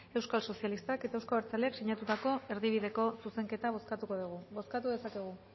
euskal sozialistak eta euzko abertzaleak sinatutako erdibideko zuzenketak bozkatuko degu bozkatu dezakegu